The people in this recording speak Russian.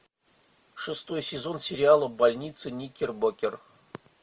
шестой сезон сериала больница никербокер